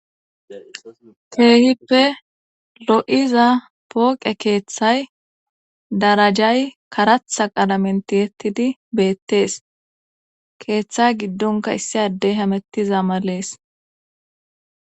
Keehippe lo'iza pooqe keeththay darajay karatha qalamenti hettidi beettees keeththa giddonka issi addey hamettiza malees.